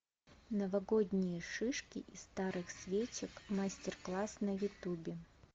новогодние шишки из старых свечек мастер класс на ютубе